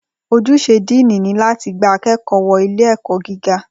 Ojúṣe Díìnì ni láti gba akẹ́kọ̀ọ́ wọ ilé ẹ̀kọ́ gíga